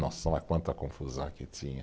Nossa, quanta confusão que tinha.